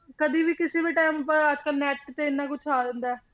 ਕਦੇੇ ਵੀ ਕਿਸੇ ਵੀ time ਆਪਾਂ ਅੱਜ ਕੱਲ੍ਹ net ਤੇ ਇੰਨਾ ਕੁਛ ਆ ਜਾਂਦਾ ਹੈ।